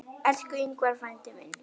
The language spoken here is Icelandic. Elsku Ingvar frændi minn.